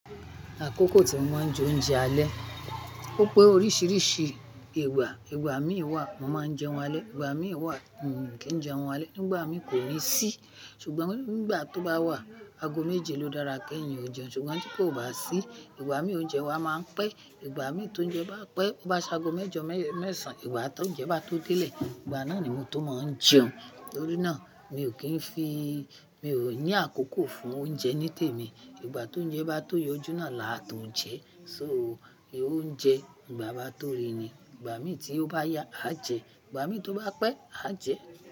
Àkókò tí wọ́n ń jẹ oúnjẹ alẹ́, ó pé oríṣiríṣi ìgbà. Ìgbà mí wà, wọn máa ń jẹun alẹ́. Ìgbà mí wà, kí n jẹun alẹ́. Nígbà mí kò ní sí, ṣùgbọ́n nígbà tó bá wà, ago méje ló dára kí èèyàn ó jẹun ṣùgbọ́n tí kò bá sí, ìgbà mí óúnjẹ wa máa ń pẹ́, ìgbà mí tó ń jẹun bá pẹ́, bá sa ago mẹ́jọ, mẹ́ẹ̀sán, ìgbà tó ń jẹun bá tó délé, ìgbà náà ni mo tó máa ń jẹun. Nítorí náà, mi ò kí ń fi, mi ò ní àkókò fún oúnjẹ ní tèmi. Ìgbà tó ń jẹ bá tóye, ojú náà làá tó ń jẹ́. So, óúnjẹ ìgbà bá tó rí ni. Ìgbà mí tí ó bá yá, a jẹ. Ìgbà mí tó bá pẹ́, a jẹ.